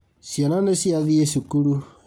Ciana nĩciathiĩ cukuru